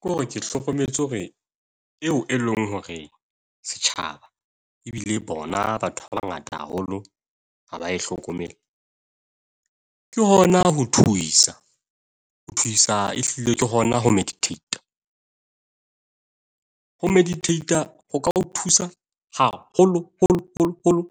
Ke hore ke hlokometse hore eo e leng hore setjhaba ebile bona batho ba bangata haholo ha ba e hlokomele. Ke hona ho thuisa, ho thuisa ehlile ke hona ho meditate. Ho meditate ho ka o thusa haholo holo holo holo